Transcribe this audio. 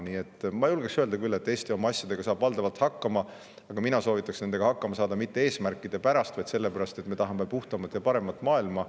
Nii et ma julgeksin küll öelda, et Eesti saab oma asjadega valdavalt hakkama, aga mina soovitaks nendega hakkama saada mitte eesmärkide pärast, vaid sellepärast, et me tahame puhtamat ja paremat maailma.